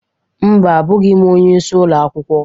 Mba, abụghị m onyeisi ụlọ akwụkwọ